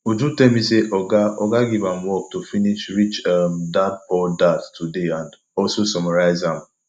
uju tell me say oga oga give am work to finish rich um dadpoor dad today and also summarize am